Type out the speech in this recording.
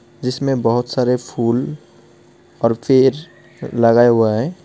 जिसमें बहुत सारे फूल और पेड़ लगाया हुआ है.